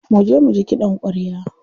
Muje muji kiɗan ƙwarya.